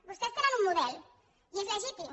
vostès tenen un model i és legítim